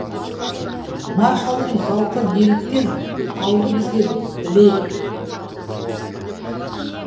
маршалдың зауқы неліктен ауды бізге білейік